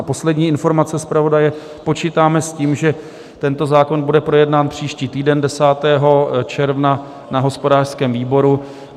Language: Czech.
A poslední informace zpravodaje, počítáme s tím, že tento zákon bude projednán příští týden 10. června na hospodářském výboru.